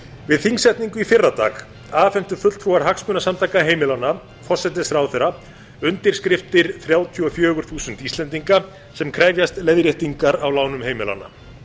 við þingsetningu í fyrrdag afhentu fulltrúar hagsmunasamtaka heimilanna forsætisráðherra undirskriftir þrjátíu og fjögur þúsund íslendinga sem krefjast leiðréttingar á ánum heimilanna